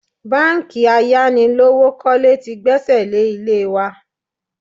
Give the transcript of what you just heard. Báńkì ayánilówókọ́lé tí gbẹ́sẹ̀ lé ilé wa